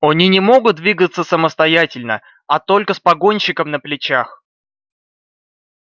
они не могут двигаться самостоятельно а только с погонщиком на плечах